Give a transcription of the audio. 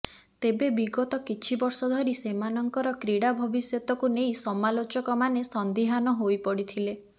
ତେବେ ବିଗତ କିଛି ବର୍ଷ ଧରି ସେମାନଙ୍କର କ୍ରୀଡା ଭବିଷ୍ୟତକୁ ନେଇ ସମାଲୋଚକମାନେ ସନ୍ଦିହାନ ହୋଇପଡିଥିଲେ